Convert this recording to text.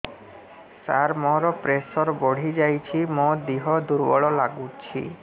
ସାର ମୋର ପ୍ରେସର ବଢ଼ିଯାଇଛି ମୋ ଦିହ ଦୁର୍ବଳ ଲାଗୁଚି